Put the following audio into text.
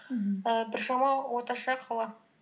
мхм і біршама орташа қала